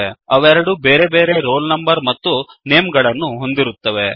ಅವೆರಡೂ ಬೇರೆ ಬೇರೆ ರೋಲ್ ನಂಬರ್ ಮತ್ತು ನೇಮ್ ಗಳನ್ನುಹೊಂದಿರುತ್ತವೆ